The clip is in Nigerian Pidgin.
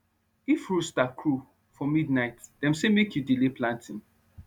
if rooster crow for midnight dem say make you delay planting